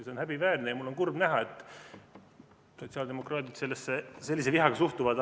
See on häbiväärne ja mul on kurb näha, et sotsiaaldemokraadid sellesse sellise vihaga suhtuvad.